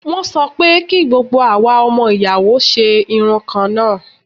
Wọ́n sọ pé kí gbogbo àwa ọmọ ìyàwó ṣe irun kan náà.